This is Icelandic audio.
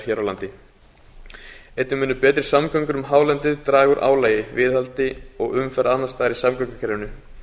hér á landi einnig munu betri samgöngur um hálendið draga úr álagi viðhaldi og umferð annars staðar í samgöngukerfinu